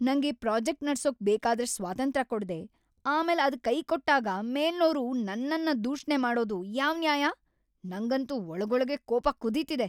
ನಂಗೆ ಪ್ರಾಜೆಕ್ಟ್‌ ನಡ್ಸೋಕ್‌ ಬೇಕಾದಷ್ಟ್ ಸ್ವಾತಂತ್ರ್ಯ ಕೊಡ್ದೆ, ಆಮೇಲ್‌ ಅದ್‌ ಕೈಕೊಟ್ಟಾಗ ಮೇಲ್ನೋರು ನನ್ನನ್‌ ದೂಷಣೆ ಮಾಡೋದು ಯಾವ್‌ ನ್ಯಾಯ! ನಂಗಂತೂ ಒಳಗೊಳಗೇ ಕೋಪ ಕುದೀತಿದೆ.